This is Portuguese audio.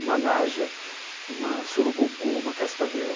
Uma naja, uma surucucu, uma cascavel.